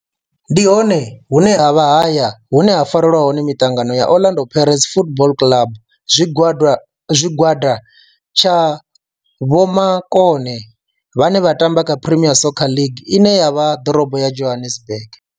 Ndi hone hune havha haya hune ha farelwa hone miṱangano ya Orlando Pirates Football Club. Tshigwada tsha vhomakone vhane vha tamba kha Premier Soccer League ine ya vha ḓorobo ya Johannesburg.